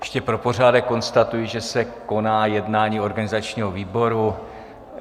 Ještě pro pořádek konstatuji, že se koná jednání organizačního výboru.